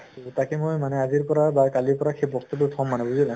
তাকে মই মানে আজিৰ পৰা কালিৰ পৰা সেই বস্তু তো থʼম মানে , বুজিলা ?